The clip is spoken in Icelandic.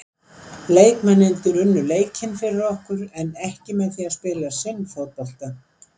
Leikmennirnir unnu leikinn fyrir okkur en ekki með því að spila sinn fótbolta.